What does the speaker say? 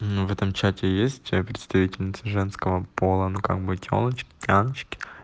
ну в этом чате есть а представительницы женского пола на как бы тёлочки тяночки